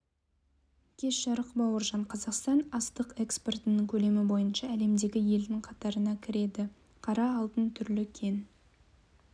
кеш жарық бауыржан қазақстан астық экспортының көлемі бойынша әлемдегі елдің қатарына кіреді қара алтын түрлі кен